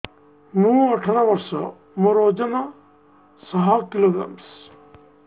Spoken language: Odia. ମୁଁ ଅଠର ବର୍ଷ ମୋର ଓଜନ ଶହ କିଲୋଗ୍ରାମସ